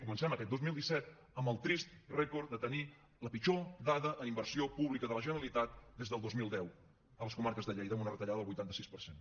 comencem aquest dos mil disset amb el trist rècord de tenir la pitjor dada en inversió pública de la generalitat des del dos mil deu a les comarques de lleida amb una retallada del vuitanta sis per cent